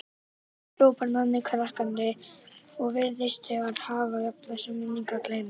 hrópar Nonni hlakkandi og virðist þegar hafa jafnað sig, minningar gleymdar.